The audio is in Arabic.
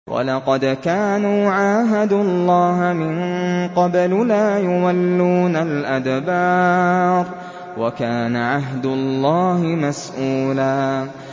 وَلَقَدْ كَانُوا عَاهَدُوا اللَّهَ مِن قَبْلُ لَا يُوَلُّونَ الْأَدْبَارَ ۚ وَكَانَ عَهْدُ اللَّهِ مَسْئُولًا